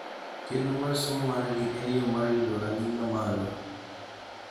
Chenro mar somo margi en yo mar yudo rang'iny ma malo